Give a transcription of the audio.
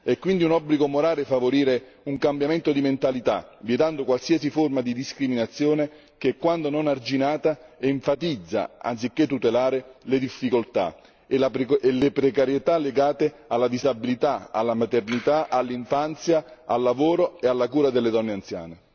È quindi un obbligo morale favorire un cambiamento di mentalità, vietando qualsiasi forma di discriminazione che, quando non arginata, enfatizza anziché tutelare le difficoltà e le precarietà legate alla disabilità, alla maternità, all'infanzia, al lavoro e alla cura delle donne anziane.